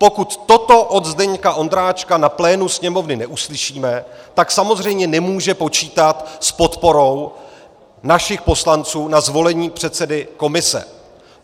Pokud toto od Zdeňka Ondráčka na plénu Sněmovny neuslyšíme, tak samozřejmě nemůže počítat s podporou našich poslanců na zvolení předsedy komise.